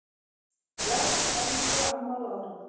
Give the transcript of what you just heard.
Bless, elsku amma Lára.